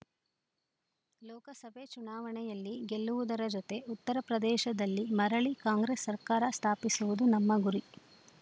ಲೋಕಸಭೆ ಚುನಾವಣೆಯಲ್ಲಿ ಗೆಲ್ಲುವುದರ ಜತೆ ಉತ್ತರಪ್ರದೇಶದಲ್ಲಿ ಮರಳಿ ಕಾಂಗ್ರೆಸ್‌ ಸರ್ಕಾರ ಸ್ಥಾಪಿಸುವುದು ನಮ್ಮ ಗುರಿ